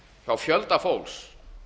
hjá fjölda fólks